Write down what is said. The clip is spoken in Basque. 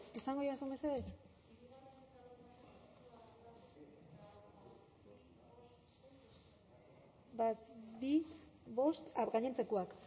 bale esango didazu mesedez